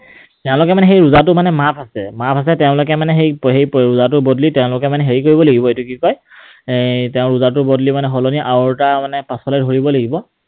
তেওঁলোকে মানে সেই ৰোজাটো মানে মাফ আছে। মাফ আছে, তেওঁলোকে মানে সেই ৰোজাটোৰ বদলি তেওঁলোকে মানে হেৰি কৰিব লাগিব কি কয় এই তেওঁ ৰোজাটোৰ বদলি মানে সলনি আৰু এটা মানে পাছলৈ ধৰিব লাগিব।